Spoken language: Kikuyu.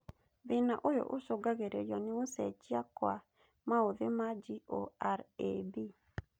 Thĩna ũyũ ũcũngagĩrĩrio nĩ gũcenjia kwa maũthi ma GORAB